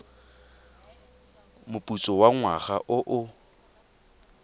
moputso wa ngwaga o o